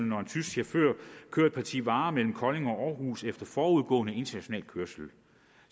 når en tysk chauffør kører et parti varer mellem kolding og århus efter forudgående international kørsel